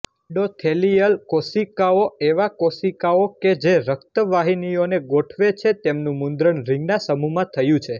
endothelial કોશિકાઓએવા કોશિકાઓ કે જે રક્તવાહિનીઓને ગોઠવે છેતેમનુ મુદ્રણ રીંગના સમૂહમા થયુ છે